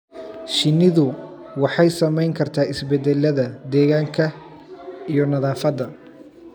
Shinnidu waxay saamayn kartaa isbeddellada deegaanka iyo nadaafadda.